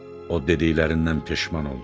O dediklərindən peşman oldu.